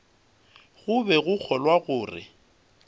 go be go kgolwa gore